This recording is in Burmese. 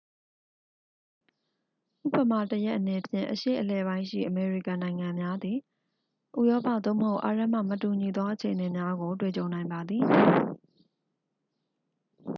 ဥပမာတစ်ရပ်အနေဖြင့် အရှေ့အလယ်ပိုင်းရှိအမေရိကန်နိုင်ငံသားများသည် ဥရောပ သို့မဟုတ် အာရပ်မှ မတူညီသောအခြေအနေများကို တွေ့ကြုံနိုင်ပါသည်